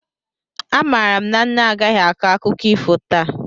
Amaara m na nne agaghị akọ akụkọ ifo taa